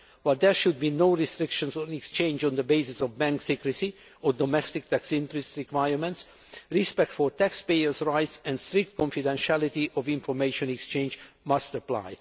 While there should be no restrictions on exchange on the basis of bank secrecy or domestic tax interest requirements, respect for taxpayers' rights and strict confidentiality of information exchanged must apply.